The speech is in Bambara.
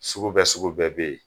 Sugu bɛ sugu bɛɛ bɛ yen